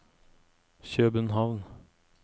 København